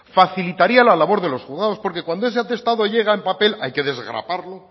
facilitaría la labor de los juzgados porque cuando ese atestado llega en papel hay que desgraparlo